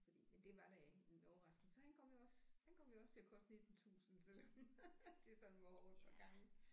Fordi men det var da en overraskelse han kom jo også han kom jo også til at koste 19 tusind selvom det sådan var over et par gange